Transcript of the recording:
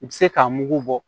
I bɛ se k'a mugu bɔ